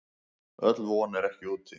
Öll von er ekki úti.